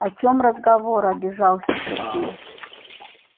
о чем разговор обижается сергей